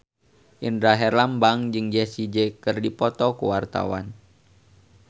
Indra Herlambang jeung Jessie J keur dipoto ku wartawan